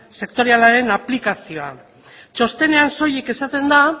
sektorialaren aplikazioa txostenean soilik esaten da